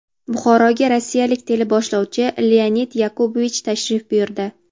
Buxoroga rossiyalik teleboshlovchi Leonid Yakubovich tashrif buyurdi.